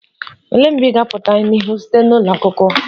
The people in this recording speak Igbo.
Olee mgbe ị ga-apụta n'ihu sinetị ụlọ akwụkwọ?..